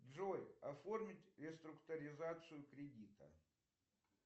джой оформить реструктуризацию кредита